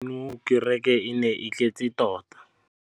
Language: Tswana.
Gompieno kêrêkê e ne e tletse tota.